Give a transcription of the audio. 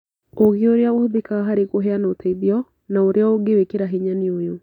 Ũũgĩ ũrĩa ũhũthĩkaga harĩ kũheana ũteithio na ũrĩa ũngĩwĩkĩra hinya nĩ ũyũ: